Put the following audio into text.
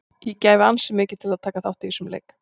Ég gæfi ansi mikið til að taka þátt í þessum leik.